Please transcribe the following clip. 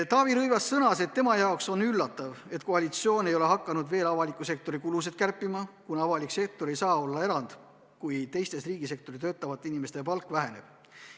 Taavi Rõivas sõnas, et tema jaoks on üllatav, et koalitsioon ei ole veel hakanud avaliku sektori kulusid kärpima, kuna avalik sektor ei saa olla erand, kui teiste riigisektoris töötavate inimeste palk väheneb.